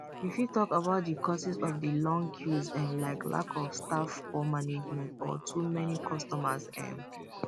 you fit talk about di causes of di long queues um like lack of staff poor management or too many customers um